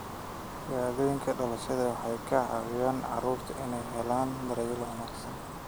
Shahaadooyinka dhalashada waxay ka caawiyaan carruurta inay helaan daryeel wanaagsan.